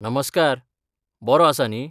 नमस्कार, बरो आसा न्ही.